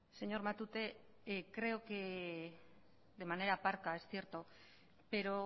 señor matute creo que de manera parca es cierto pero